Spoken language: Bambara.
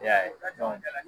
E y'a ye